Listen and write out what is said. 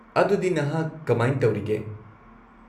-ꯑꯗꯨꯗꯤ, ꯅꯍꯥꯛ ꯀꯃꯥꯢꯟ ꯇꯧꯔꯤꯒꯦ?